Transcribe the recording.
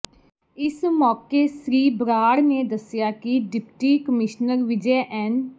ਇਸ ਮੌਕੇ ਸ੍ਰੀ ਬਰਾੜ ਨੇ ਦੱਸਿਆ ਕਿ ਡਿਪਟੀ ਕਮਿਸ਼ਨਰ ਵਿਜੈ ਐਨ